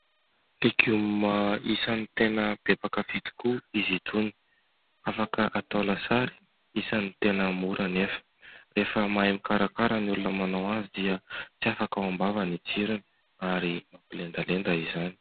Legioma isany tena be mpankafy tokoa izy itony, afaka atao lasary ; isany tena mora anefa. Rehefa tena mahay mikarakara ny olona manao azy dia tsy afaka ao am-bava ny tsirony ary mampilendalenda izany.